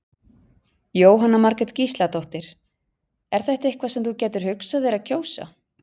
Jóhanna Margrét Gísladóttir: Er þetta eitthvað sem þú gætir hugsað þér að kjósa?